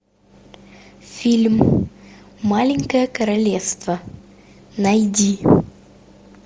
фильм маленькое королевство найди